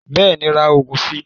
Bẹ́ẹ̀ni ra oògùn si